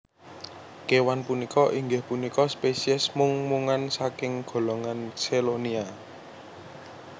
Kéwan punika inggih punika spesies mung mungan saking golongan Chelonia